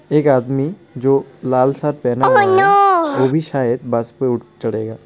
एक आदमी जो लाल शर्ट पहेना हुआ है वो भी शायद बस पे उठ चढ़ेगा.